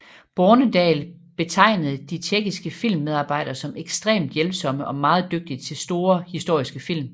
Bornedal betegnede de tjekkiske filmmedarbejdere som ekstremt hjælpsomme og meget dygtige til store historiske film